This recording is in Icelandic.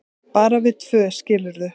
bara við tvö, skilurðu.